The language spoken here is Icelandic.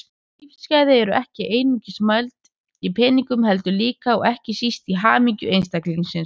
Lífsgæði eru ekki einungis mæld í peningum heldur líka, og ekki síst, í hamingju einstaklingsins.